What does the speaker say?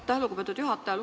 Aitäh, lugupeetud juhataja!